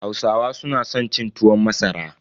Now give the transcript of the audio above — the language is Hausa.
Hausawa su na san cin tuwon masara.